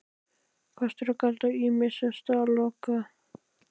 KOSTIR OG GALLAR ÝMISSA STAÐA LOKIÐ